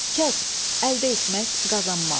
Kəsb, əldə etmək, qazanmaq.